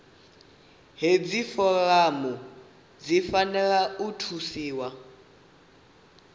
hedzi foramu dzi fanela u thusiwa